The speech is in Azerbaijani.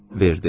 Verdi.